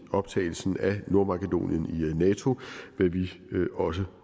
optagelsen af nordmakedonien i nato hvad vi også